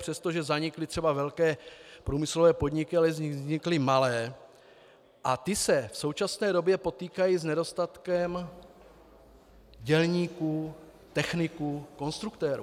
Přestože zanikly třeba velké průmyslové podniky, ale vznikly malé a ty se v současné době potýkají s nedostatkem dělníků, techniků, konstruktérů.